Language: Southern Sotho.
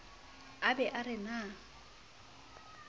a be a re na